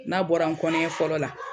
N'a bɔra n kɔniya fɔlɔ la.